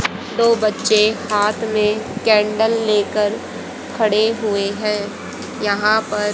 दो बच्चे हाथ में कैंडल लेकर खड़े हुए हैं यहां पर--